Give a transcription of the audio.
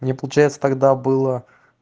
мне получается тогда было